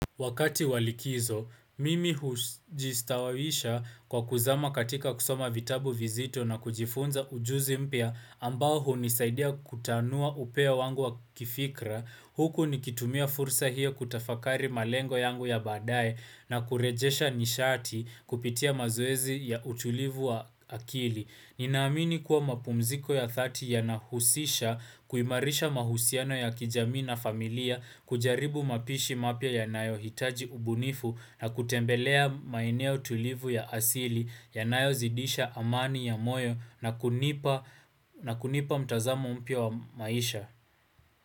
Wakati walikizo, mimi hujistawawisha kwa kuzama katika kusoma vitabu vizito na kujifunza ujuzi mpya ambao hunisaidia kutanua upea wangu wa kifikra. Huku nikitumia fursa hiyo kutafakari malengo yangu ya baadaye na kurejesha nishati kupitia mazoezi ya utulivu wa akili. Ninaamini kuwa mapumziko ya dhati yanahusisha kuimarisha mahusiano ya kijamii na familia kujaribu mapishi mapya ya nayo hitaji ubunifu na kutembelea maeneo tulivu ya asili ya nayo zidisha amani ya moyo na kunipa mtazamo mpya wa maisha.